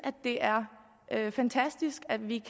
det er fantastisk at vi